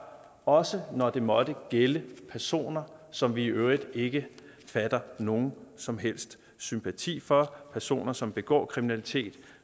også når det måtte gælde personer som vi i øvrigt ikke fatter nogen som helst sympati for personer som begår kriminalitet